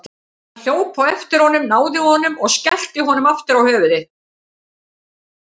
Hann hljóp á eftir honum, náði honum og skellti honum aftur á höfuðið.